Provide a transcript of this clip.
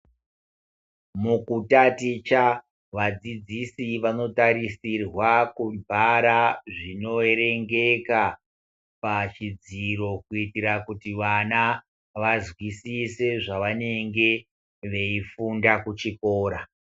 Mukutaticha vadzidzisi vanotarisirwa kuvhara zvinoerengeka pachidziro kuitira kuti vana vanzwisise zvavanenge veifunda kuchikora.